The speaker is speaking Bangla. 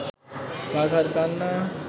বাঘার কান্না